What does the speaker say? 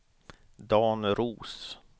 Dan Roos